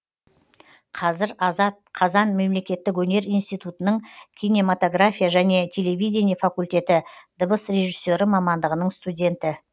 қазір азат қазан мемлекеттік өнер институтының кинематогрофия және телевидение факультеті дыбыс режиссері мамандығының студенті